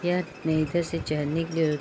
यह निचे से चाहड़ने के लिए --